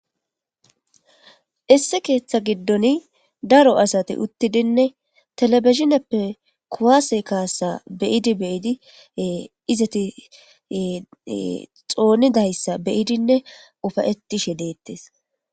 Isse keeththa giddon daro asati uttidinne telebisneppe kowaase kaasa beyidi beyidi izati xoonidayssa beyidinne ufayetishe deettes.